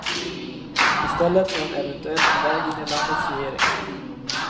I stället är hon eventuellt på väg in i landets regering.